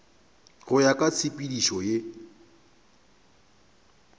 go ya ka tshepedišo ye